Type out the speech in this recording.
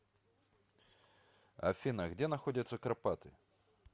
афина где находятся карпаты